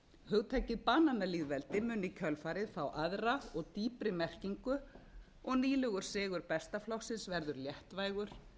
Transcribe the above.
hugtakið bananalýðveldi minn kjölfarið fá aðra og dýpri merkingu og nýlegur sigur besta flokksins verður léttvægur